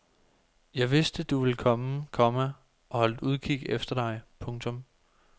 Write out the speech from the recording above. Jeg vidste du ville komme, komma og holdt udkig efter dig. punktum